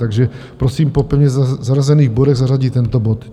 Takže prosím po pevně zařazených bodech zařadit tento bod.